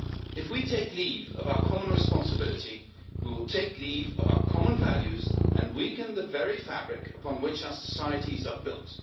If we take leave of our common responsibility, we will take leave of our common values and weaken the very fabric upon which our societies are built.